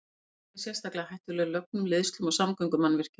Slík hreyfing er sérstaklega hættuleg lögnum, leiðslum og samgöngumannvirkjum.